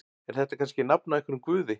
Er þetta kannski nafn á einhverjum guði?